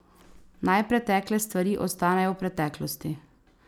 Naj pretekle stvari ostanejo v preteklosti.